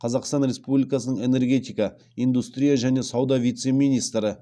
қазақстан республикасының энергетика индустрия және сауда вице министрі